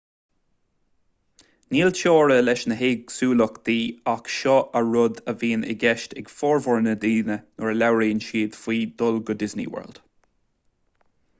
níl teora leis na héagsúlachtaí ach seo an rud a bhíonn i gceist ag formhór na ndaoine nuair a labhraíonn siad faoi dhul go disney world